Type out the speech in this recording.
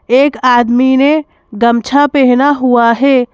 एक आदमी ने गमछा पहना हुआ है।